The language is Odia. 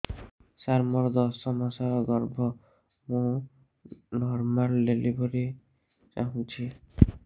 ସାର ମୋର ଦଶ ମାସ ଗର୍ଭ ମୁ ନର୍ମାଲ ଡେଲିଭରୀ ଚାହୁଁଛି